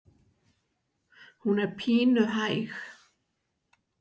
Hún er pínu hæg.